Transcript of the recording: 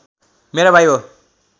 मेरा भाइ हो